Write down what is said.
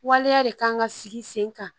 Waleya de kan ka sigi sen kan